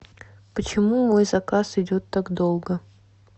почему мой заказ идет так долго